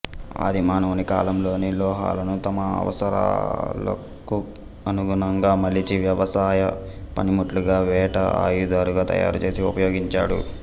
ఆదిమానవుని కాలంలోనే లోహాలను తన అవసరాలకనుగుణంగా మలిచి వ్యవసాయ పనిముట్లుగా వేట ఆయుధాలుగా తయారుచేసి ఉపయోగించాడు